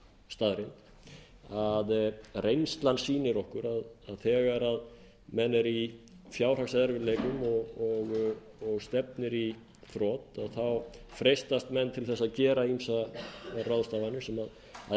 staðreynd að reynslan sýnir áður að þegar menn eru í fjárhagserfiðleikum og stefnir í þrot þá freistast menn til að gera ýmsar ráðstafanir sem